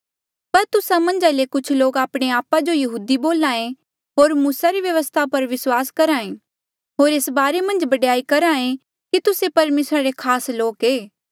पर तुस्सा मन्झ ले कुछ लोक आपणे आपा जो यहूदी बोल्हा ऐें होर मूसा री व्यवस्था पर विस्वास करहा ऐें होर एस बारे मन्झ बडयाई करहा ऐें कि तुस्से परमेसरा रे खास लोक ऐें